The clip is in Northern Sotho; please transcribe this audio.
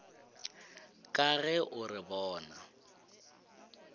ka ge o re bona